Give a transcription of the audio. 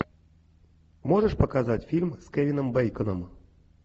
можешь показать фильм с кевином бейконом